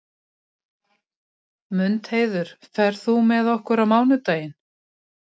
Mundheiður, ferð þú með okkur á mánudaginn?